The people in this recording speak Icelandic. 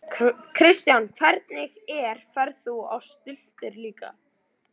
Kristján: Hvernig er, ferð þú á stultur líka?